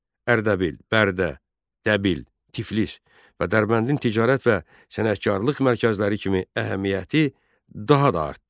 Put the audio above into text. Ərdəbil, Bərdə, Təbil, Tiflis və Dərbəndin ticarət və sənətkarlıq mərkəzləri kimi əhəmiyyəti daha da artdı.